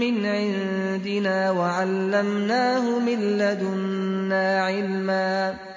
مِّنْ عِندِنَا وَعَلَّمْنَاهُ مِن لَّدُنَّا عِلْمًا